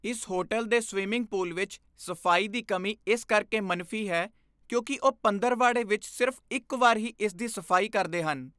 ਇਸ ਹੋਟਲ ਦੇ swimming pool ਵਿੱਚ ਸਫ਼ਾਈ ਦੀ ਕਮੀ ਇਸ ਕਰਕੇ ਮਨਫ਼ੀ ਹੈ ਕਿਉਂਕਿ ਉਹ ਪੰਦਰਵਾੜੇ ਵਿੱਚ ਸਿਰਫ਼ ਇੱਕ ਵਾਰ ਹੀ ਇਸ ਦੀ ਸਫ਼ਾਈ ਕਰਦੇ ਹਨ।